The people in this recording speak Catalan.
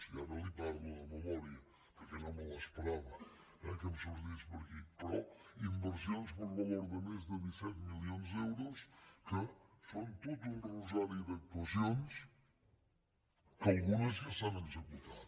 i ara li parlo de memòria perquè no m’esperava eh que em sortís per aquí però inversions per valor de més de disset milions d’euros que són tot un rosari d’actuacions que algunes ja s’han executat